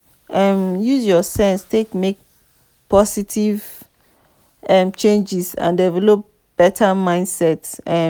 um use your sense take make positive um changes and develop better mindset um